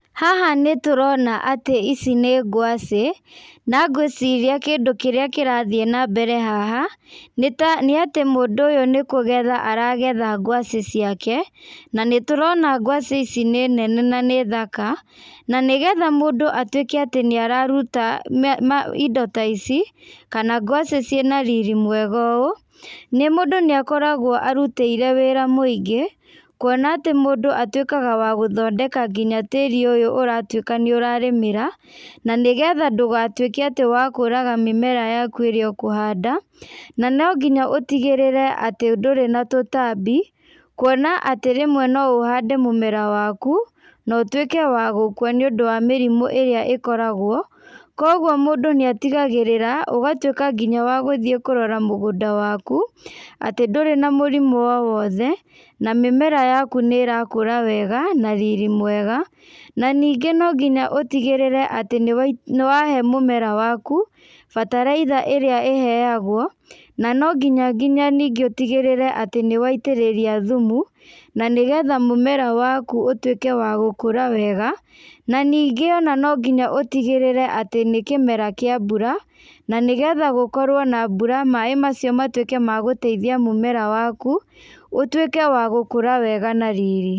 Haha nĩtũrona atĩ ici nĩ ngwaci, na ngwĩciria kindũ kĩrĩa kĩrathiĩ nambere haha, nĩta nĩatĩ mũndũ ũyũ nĩkũgetha aragetha ngwaci ciake, na nĩtũrona ngwaci ici nĩ nene na nĩ thaka, na nĩgetha mũndũ atuĩke atĩ nĩararuta indo ta ici, kana ngwaci ciĩna riri mwega ũũ, nĩ mũndũ nĩakoragwo arutĩire wĩra mũingĩ, kuona atĩ mũndũ atuĩkaga wa gũthondeka nginya tĩri ũyũ ũratuĩka nĩũrarĩmĩra, na nĩgetha ndũgatuĩke atĩ wa kũraga mĩmera yaku ĩrĩa ũkũhanda, na nonginya ũtigĩrĩre atĩ ndũrĩ na tũtambi, kuona atĩ rĩmwe no ũhande mũmera waku, na ũtuĩke wa gũkua nĩũndũ wa mĩrimũ ĩrĩa ĩkoragwo, kogua mũndũ nĩatigagĩrĩra, ũgatuĩka nginya wa gũthiĩ kũrora mũgũnda waku, atĩ ndũrĩ na mũrimũ o wothe, na mĩmera yaku nĩrakũra wega na riri mwega, na ningĩ nonginya ũtigĩrĩre nĩwahe mũmera waku bataraitha ĩrĩa ĩheagwo, na no nginya nginya ningĩ ũtigĩrĩre atĩ nĩwaitĩrĩria thumu, na nĩgetha mũmera waku ũtuĩke wa gũkũra wega, na ningĩ ona no nginya ũtigĩrĩre atĩ nĩ kĩmera kĩa mbura, na nĩgetha gũkorwo na mbura maĩ macio matuĩke ma gũteithia mũmera waku, ũtuĩke wa gũkũra wega nariri.